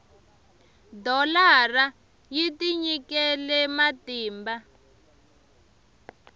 dholara yi tinyikele matimba